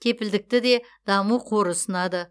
кепілдікті де даму қоры ұсынады